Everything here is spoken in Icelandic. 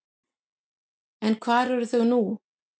En hvar eru þau nú?